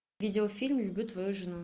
видеофильм люблю твою жену